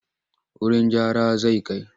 Wurin gyara zan kai.